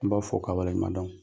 N b'aw fo k'aw waleɲumandɔn.